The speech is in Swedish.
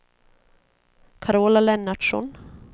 Carola Lennartsson